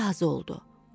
Tülkü razı oldu.